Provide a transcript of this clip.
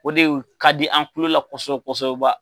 O de ka di an kulola kosɛbɛ kosɛbɛ.